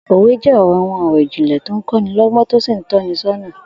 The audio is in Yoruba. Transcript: Òwe jé̩ àwo̩n ò̩rò̩ ìjìnlè̩ tó ń kó̩ ní ló̩gbó̩n tó sì ń tó̩ ni só̩nà